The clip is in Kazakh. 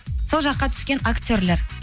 сол жаққа түскен актерлер